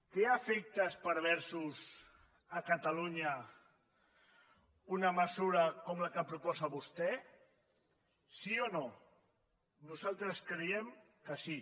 té efectes perversos a catalunya una mesura com la que proposa vostè sí o no nosaltres creiem que sí